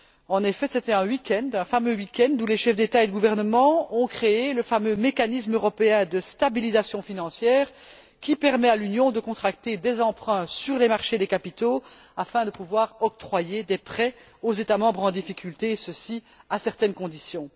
En effet, c'était un week end, où les chefs d'État et de gouvernement ont créé le fameux mécanisme européen de stabilisation financière, qui permet à l'Union de contracter des emprunts sur les marchés des capitaux, afin de pouvoir octroyer des prêts aux États membres en difficulté, et ceci à certaines conditions.